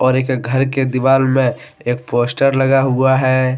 घर के दीवाल में एक पोस्टर लगा हुआ है।